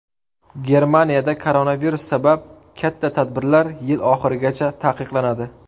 Germaniyada koronavirus sabab katta tadbirlar yil oxirigacha taqiqlanadi.